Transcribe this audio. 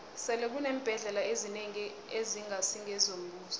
sele kuneembhendlela ezinengi ezingasi ngezombuso